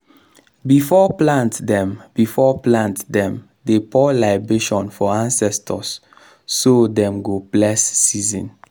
before plant dem before plant dem dey pour libation for ancestors so dem go bless season.